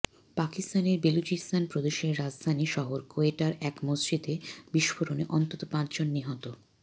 পাকিস্তানের বেলুচিস্তান প্রদেশের রাজধানী শহর কোয়েটার এক মসজিদে বিস্ফোরণে অন্তত পাঁচজন নিহত